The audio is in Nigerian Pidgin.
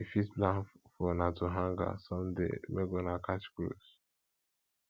you fit plan for una to hangout someday make una catch cruise